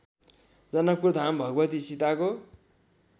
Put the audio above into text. जनकपुरधाम भगवती सीताको